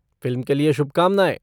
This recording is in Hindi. फ़िल्म के लिए शुभकामनाएँ!